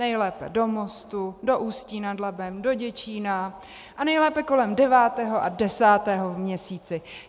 Nejlépe do Mostu, do Ústí nad Labem, do Děčína a nejlépe kolem 9. a 10. v měsíci.